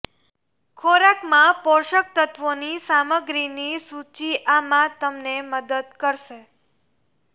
ખોરાકમાં પોષક તત્ત્વોની સામગ્રીની સૂચિ આમાં તમને મદદ કરશે